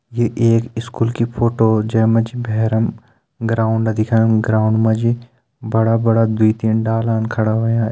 ये एक स्कुल की फोटो जै मा जी बहरम ग्राउन्ड दिखेणु ग्राउन्ड मा जी बड़ा बड़ा दूई तीन डालान खड़ा होयां।